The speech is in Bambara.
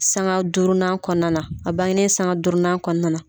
Sanga durunan kɔnɔna , a bangenen sanga durunan kɔnɔna.